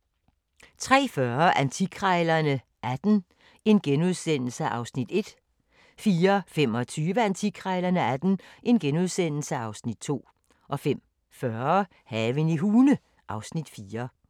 03:40: Antikkrejlerne XVIII (Afs. 1)* 04:25: Antikkrejlerne XVIII (Afs. 2)* 05:40: Haven i Hune (Afs. 4)